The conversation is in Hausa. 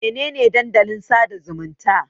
Mene ne Dandalin sada zumunta?